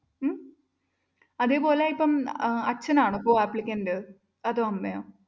ഉം അതേപോലെ ഇപ്പം അച്ഛനാണോ co applicant അതോ അമ്മയോ?